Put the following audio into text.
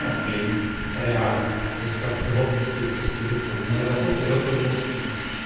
ом блин реально без подробностей после дипломной работы я понял что нет